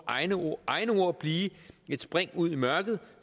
egne ord blive et spring ud i mørket